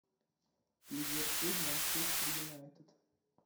ливерпуль манчестер юнайтед